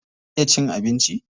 Ya iya cin abinci?